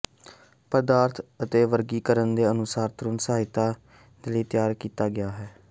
ਪਦਾਰਥ ਦੇ ਵਰਗੀਕਰਨ ਦੇ ਅਨੁਸਾਰ ਤੁਰੰਤ ਸਹਾਇਤਾ ਦੇ ਲਈ ਤਿਆਰ ਕੀਤਾ ਗਿਆ ਹੈ